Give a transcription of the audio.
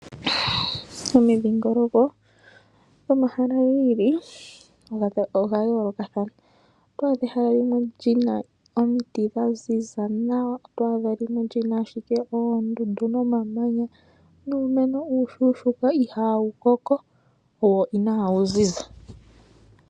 Omidhingoloko dhomahala gi ili odha yoolokathana. Oto adha ehala li na omiti dha ziza nawa, oto adha limwe li na owala oondundu nomamanya nuumeno uushuushuuka ihawu koko wo inaawu ziza.